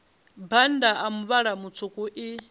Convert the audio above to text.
bannda a muvhala mutswuku i